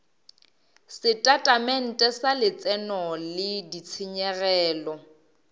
setatamente sa letseno le ditshenyegelo